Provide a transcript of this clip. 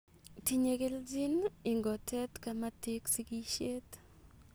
Tinye kelchin ingotet kamatik sigisheeet